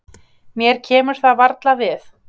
Mér kemur það varla við.